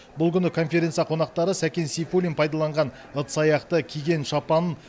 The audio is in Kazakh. бұл күні конференция қонақтары сәкен сейфуллин пайдаланған ыдыс аяқты киген шапанын